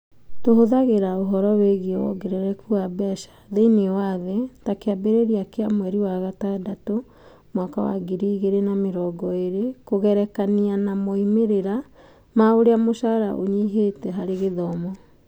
Tũhũthagĩra ũhoro wĩgiĩ wongerereku wa mbeca thĩinĩ wa thĩ (ta kĩambĩrĩria kĩa Juni 2020) kũgerekania na moimĩrĩra ma ũrĩa mũcara ũnyihĩte harĩ gĩthomo.